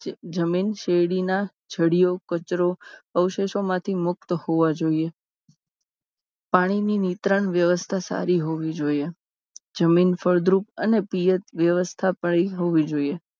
જમીન શેરડીના જડિયો કચરો અવશેષો માંથી મુક્ત હોવા જોઈએ. પાણીની વિતરણ વ્યવસ્થા સારી હોવી જોઈએ. જમીન ફળદ્રુપ અને PH વ્યવસ્થા વળી હોવી જોઈએ